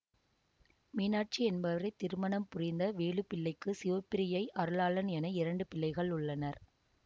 மீனாட்சி என்பவரை திருமணம் புரிந்த வேலுப்பிள்ளைக்கு சிவப்பிரியை அருளாளன் என இரண்டு பிள்ளைகள் உள்ளனர்